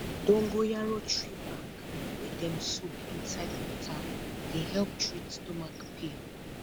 dongoyaro tree back wey dem soak inside water dey help treat stomach pain